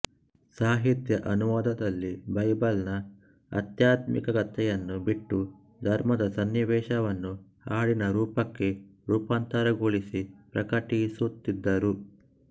ಸಾಹಿತ್ಯ ಅನುವಾದದಲ್ಲಿ ಬೈಬಲ್ ನ ಅದ್ಯಾಥ್ಮಿಕತೆಯನ್ನು ಬಿಟ್ಟು ಧರ್ಮದ ಸನ್ನಿವೇಶವನ್ನು ಹಾಡಿನ ರೂಪಕ್ಕೆ ರೂಪಾಂತರಗೊಳಿಸಿ ಪ್ರಕಟಿಸುತ್ತಿದ್ದರು